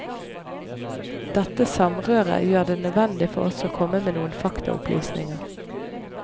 Dette samrøret gjør det nødvendig for oss å komme med noen faktaopplysninger.